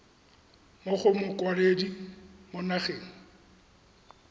mo go mokwaledi mo nageng